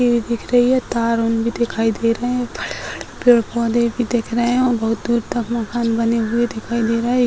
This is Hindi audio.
भी दिख रही है तार-ुउर भी दिखाई दे रहे हैं बड़े-बड़े पेड़-पौधे भी दिख रहे हैं और बहुत दूर मकान पर बने हुए दिखाई दे रहा है। ए --